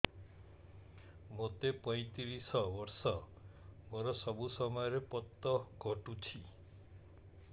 ମୋତେ ପଇଂତିରିଶ ବର୍ଷ ମୋର ସବୁ ସମୟରେ ପତ ଘଟୁଛି